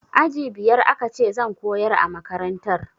Aji biyar aka ce zan koyar a makantar